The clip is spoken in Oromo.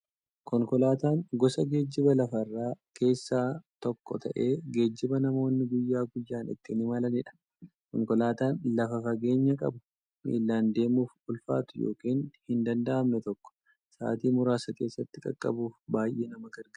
Konkolaataan gosa geejjiba lafarraa keessaa tokko ta'ee, geejjiba namoonni guyyaa guyyaan ittiin imalaniidha. Konkolaataan lafa fageenya qabu, miillan deemuuf ulfaatu yookiin hin danda'amne tokko sa'aatii muraasa keessatti qaqqabuuf baay'ee nama gargaara.